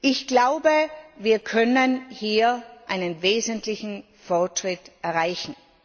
Ich glaube, wir können hier einen wesentlichen Fortschritt erreichen.